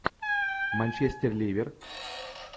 манчестер ливер